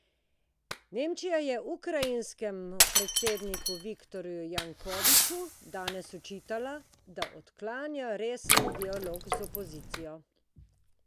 Nemčija je ukrajinskemu predsedniku Viktorju Janukoviču danes očitala, da odklanja resen dialog z opozicijo.